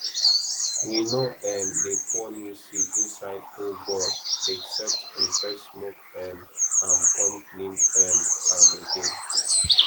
we no um dey pour new seed inside old gourd unless we first smoke um am come clean um am again